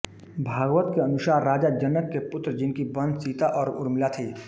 भागवत के अनुसार राजा जनक के पुत्र जिनकी बहन सीता और उर्मिला थीं